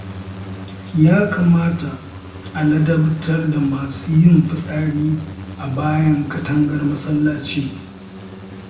Ya kamata a ladabtar da masu yin fitsari a bayan katangar masallaci